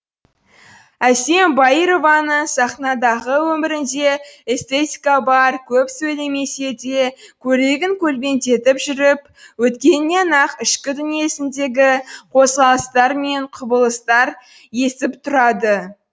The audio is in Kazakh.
әсем баированың сахнадағы өмірінде эстетика бар көп сөйлемесе де көйлегін көлбеңдетіп жүріп өткенінен ақ ішкі дүниесіндегі қозғалыстар мен құбылыстар есіп тұрады